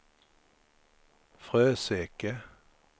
Fröseke